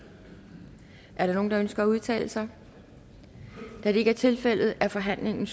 er der nogen der ønsker at udtale sig da det ikke er tilfældet er forhandlingen